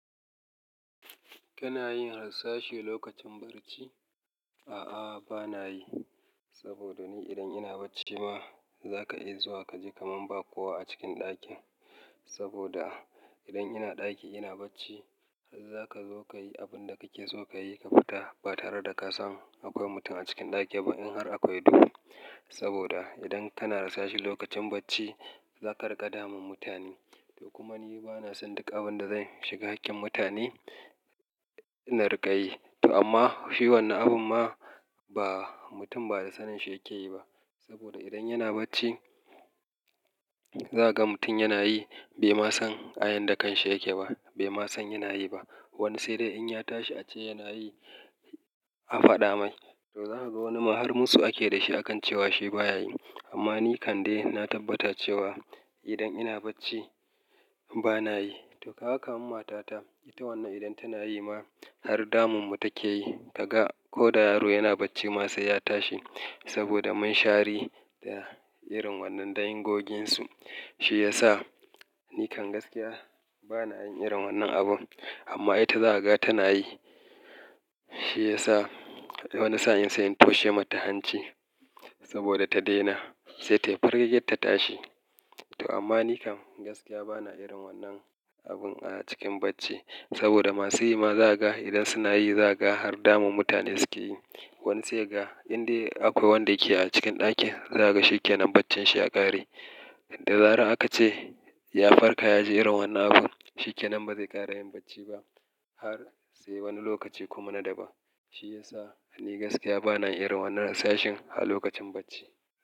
Kana yin hasashe lokacin barci? A'a, bana yi. Saboda ni idan ina bacci ma, za ka iya zuwa kaji kaman ba kowa a cikin ɗakin. Saboda idan ina ɗaki ina bacci, har za ka zo ka yi abin da kake so ka yi ka fita ba tare da ka san akwai mutum a cikin ɗaki ba in har akwai duhu. Saboda idan kana rasashe lokacin bacci, za ka riƙa damun mutane. To kuma ni bana son duk abin da zan shiga hakkin mutane, na riƙa yi. To amma shi wannan abun ma ba mutum ba da sanin shi yake yi ba. Saboda idan yana bacci, za ka ga mutum yana yi bai ma san ayan da kanshi yake ba, bai ma san yana yi ba. Wani sai dai in ya tashi ace yana yi, a faɗa mai. To za ka ga wani ma har musu ake da shi akan cewa shi baya yi. Amma ni kam de na tabbata cewa idan ina bacci bana yi. To Kaga kaman matata ita wannan idan tana yi ma har damunmu take yi. Ka ga ko da yaro yana bacci ma sai ya tashi saboda mun shari da irin wannan da in goginsu. Shi ya sa ni kan gaskiya bana yin irin wannan abun. Amma ita za ka ga tana yi. Shi ya sa wani sa'in sai in toshe mata hanci saboda ta daina. Sai tayi firgigit ta tashi. To amma ni kam gaskiya bana irin wannan abun a cikin bacci. Saboda masu yi ma za ka ga idan suna yi za ka ga har damun mutane suke yi. Wani sai kaga indai akwai wanda yake a cikin ɗakin, za kaga shi kenan baccin shi ya ƙare. Da zarar aka ce ya farka ya ji irin wannan abun, shi kenan ba zai ƙara yin bacci ba har sai wani lokaci kuma na daban. Shi ya sa ni gaskiya bana yin irin wannan rashashin a lokacin bacci.